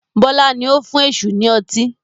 Bọlá ni ó fún èṣù ni ọtí